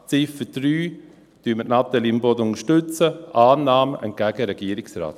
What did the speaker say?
Bei Ziffer 3 unterstützen wir Natalie Imboden: Annahme entgegen dem Regierungsrat.